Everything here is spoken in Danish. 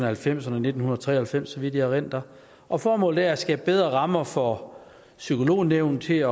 halvfemserne nitten tre og halvfems så vidt jeg erindrer og formålet er at skabe bedre rammer for psykolognævnet til at